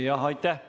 Aitäh!